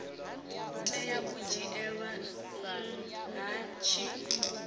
tea u dzhielwa nha tshi